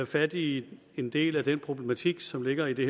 fat i en del af den problematik som ligger i det